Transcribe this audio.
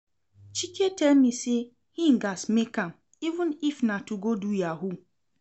Chike tell me say he gats make am even if na to go do yahoo